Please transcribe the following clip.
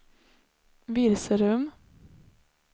Virserum